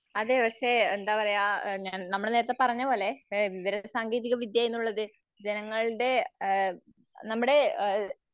അതേ പക്ഷെ എന്താപറയ നമ്മൾ നേരത്തെ പറഞ്ഞപോലെ എഹ് വിവരസാങ്കേതികവിദ്യ എന്നുള്ളത് ജനങ്ങളുടെ ആഹ് നമ്മുടെ ആഹ്